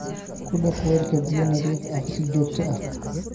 Ku dhaq weelka biyo nadiif ah si joogto ah.